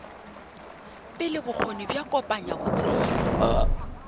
pele bokgoni bja kopanya botsebi